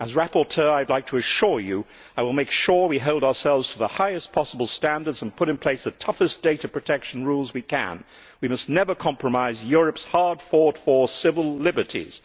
As rapporteur I would like to assure you that I will make sure we hold ourselves to the highest possible standards and put in place the toughest data protection rules we can. We must never compromise Europe's hard fought for civil liberties.